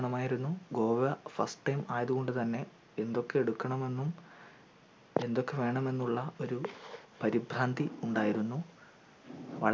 വേണമായിരുന്നു Goa first time ആയത് കൊണ്ട് തന്നെ എന്തൊക്കെ എടുക്കണമെന്നും എന്തൊക്കെ വേണമെന്നുള്ള ഒരു പരിഭ്രാന്തി ഉണ്ടായിരുന്നു